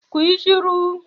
Ku yi shiru!